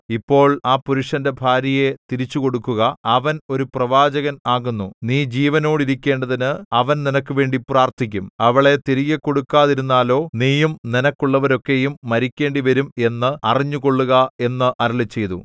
ഇപ്പോൾ ആ പുരുഷന്റെ ഭാര്യയെ തിരിച്ചുകൊടുക്കുക അവൻ ഒരു പ്രവാചകൻ ആകുന്നു നീ ജീവനോടിരിക്കേണ്ടതിന് അവൻ നിനക്കുവേണ്ടി പ്രാർത്ഥിക്കും അവളെ തിരികെക്കൊടുക്കാതിരുന്നാലോ നീയും നിനക്കുള്ളവരൊക്കെയും മരിക്കേണ്ടിവരും എന്ന് അറിഞ്ഞുകൊള്ളുക എന്ന് അരുളിച്ചെയ്തു